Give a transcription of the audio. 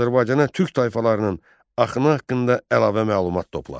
Azərbaycana türk tayfalarının axını haqqında əlavə məlumat topla.